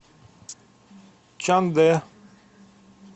чандэ